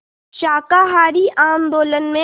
शाकाहारी आंदोलन में